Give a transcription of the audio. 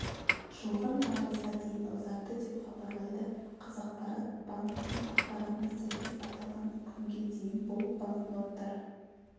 жылғы наурызға дейін ұзартты деп хабарлайды қазақпарат банктың ақпаратына сәйкес аталған күнге дейін бұл банкноттар